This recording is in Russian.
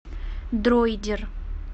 дроидер